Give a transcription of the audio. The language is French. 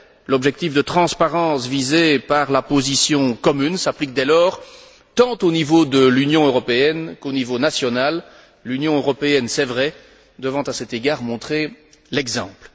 L'objectif de transparence visé par la position commune s'applique dès lors tant au niveau de l'Union européenne qu'au niveau national, l'Union européenne, il est vrai, devant à cet égard montrer l'exemple.